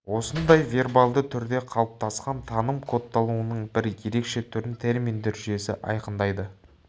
осындай вербалды түрде қалыптасқан таным кодталуының бір ерекше түрін терминдер жүйесі айқындайды